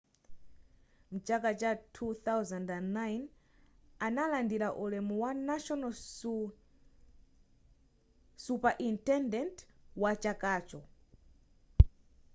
mchaka cha 2009 analandira ulemu wa national superintendent wa chakacho